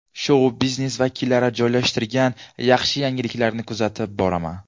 Shou-biznes vakillari joylashtirgan yaxshi yangiliklarni kuzatib boraman.